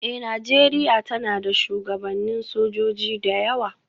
Eh, Nijeriya tana da shugabannin sojoji da yawa.